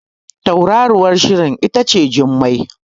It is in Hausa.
Tauraruwar Shirin ita ce Jummai